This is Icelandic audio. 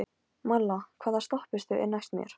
Malla, hvaða stoppistöð er næst mér?